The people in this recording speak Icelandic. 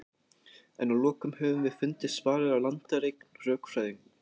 en að lokum höfum við fundið svarið á landareign rökfræðinnar